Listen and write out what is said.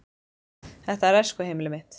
Þetta er æskuheimili mitt.